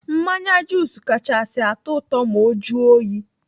Mmanya jus kachasị atụ ụtọ ma ọ juo oyi.